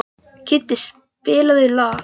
Kiddi, spilaðu lag.